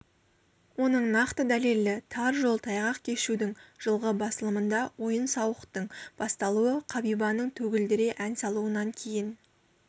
оның нақты дәлелі тар жол тайғақ кешудің жылғы басылымында ойын-сауықтың басталуы қабибаның төгілдіре ән салуынан кейін